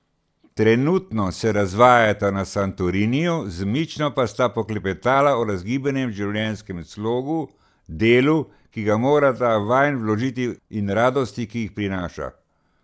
Trenutno se razvajata na Santoriniju, z Mično pa sta poklepetala o razgibanem življenjskem slogu, delu, ki ga morata vanj vložiti in radostih, ki jih prinaša.